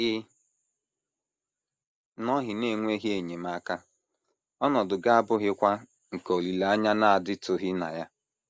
Ị nọghị n’enweghị enyemaka, ọnọdụ gị abụghịkwa nke olileanya na - adịtụghị na ya.